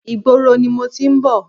Ìgboro ni mo ti ń bọ̀.